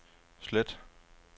slet